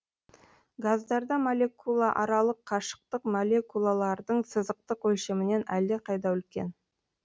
газдарда молекулааралық қашықтық молекулалардың сызықтық өлшемінен әлдеқайда үлкен